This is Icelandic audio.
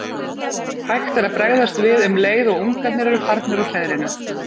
Hægt er að bregðast við um leið og ungarnir eru farnir úr hreiðrinu.